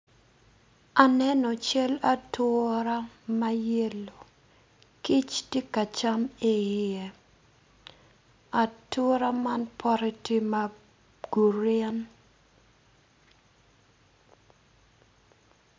Aneno cel atura ma yelo kic ti ka cam i iye atura man bote tye ma gurin